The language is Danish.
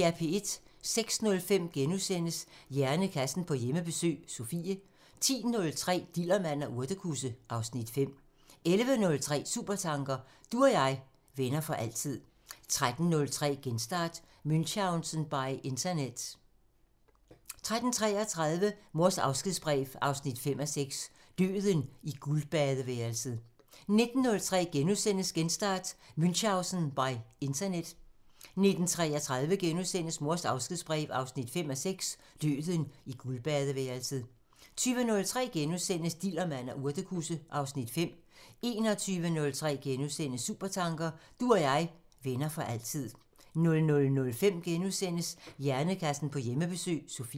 06:05: Hjernekassen på Hjemmebesøg – Sofie * 10:03: Dillermand og urtekusse (Afs. 5) 11:03: Supertanker: Du og jeg, venner for altid 13:03: Genstart: Münchausen by internet 13:33: Mors afskedsbrev 5:6 – Døden i guldbadeværelset 19:03: Genstart: Münchausen by internet * 19:33: Mors afskedsbrev 5:6 – Døden i guldbadeværelset * 20:03: Dillermand og urtekusse (Afs. 5)* 21:03: Supertanker: Du og jeg, venner for altid * 00:05: Hjernekassen på Hjemmebesøg – Sofie *